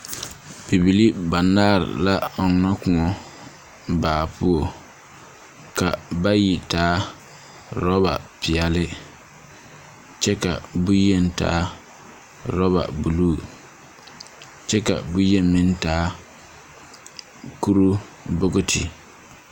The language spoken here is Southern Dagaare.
Bibilii banaare la ɔnnɔ kõɔ baa puo. Ka bayi taa rɔbapeɛle kyɛ ka bonyen taa rɔbabuluu. Kyɛ ka bonyen meŋ taa kuruu bokiti.